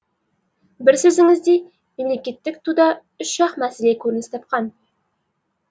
бір сөзіңізде мемлекеттік туда үш ақ мәселе көрініс тапқан